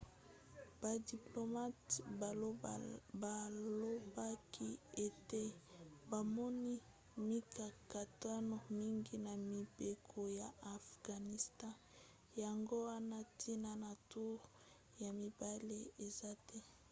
badiplomate balobaki ete bamoni mikakatano mingi na mibeko ya afghanistan yango wana ntina ya toure ya mibale eza te